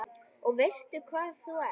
Og veistu hvað þú ert?